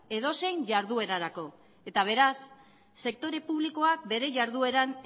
edozein jarduerarako eta beraz sektore publikoak bere jardueran